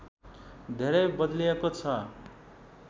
धेरै बदलिएको छ